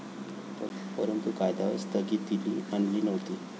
परंतु, कायद्यांवर स्थगितीली आणली नव्हती.